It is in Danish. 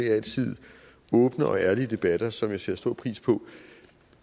er altid åbne og ærlige debatter som jeg sætter stor pris på